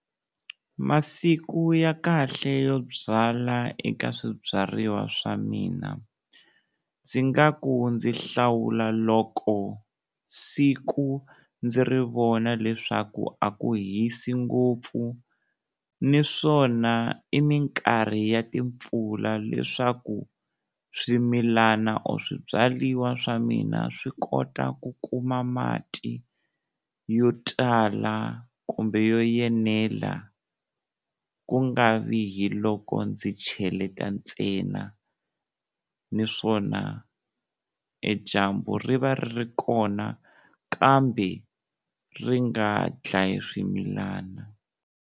Masiku ya kahle yo byala eka swibyariwa swa mina, ndzi nga ku ndzi hlawula loko siku ndzi ri vona leswaku a ku hisi ngopfu niswona i minkarhi ya timpfula leswaku swimilana or swibyariwa swa mina swi kota ku kuma mati yo tala kumbe yo yenela, ku nga vi hi loko ndzi cheleta ntsena niswona e dyambu ri va ri ri kona kambe ri nga dlayi swimilana.